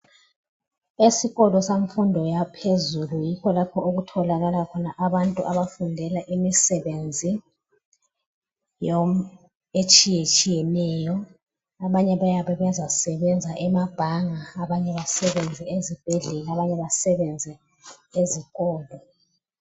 Esikolo semfundo yaphezulu yikho lapho okutholakala khona abantu abafundela imisebenzi etshiyetshiyeneyo. Abanye bayabe bezasebenza ema bhanga, abanye basebenze ezibhedlela, abanye basebenze ezikolo.